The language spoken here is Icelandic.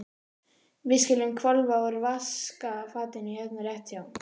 Við skulum hvolfa úr vaskafatinu hérna rétt hjá.